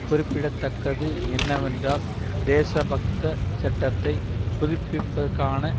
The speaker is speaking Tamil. குறிப்பிட தக்கது என்னவென்றால் தேசபக்த சட்டத்தை புதுப்பிப்பதற்கான